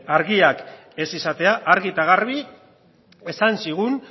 argiak ez izatea argi eta garbi esan zigun